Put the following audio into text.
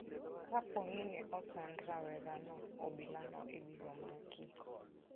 Kapo ni ne osand rawerano obilono ibiro maki.